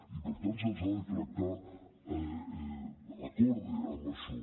i per tant se’ls ha de tractar d’acord amb això